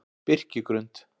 Birkigrund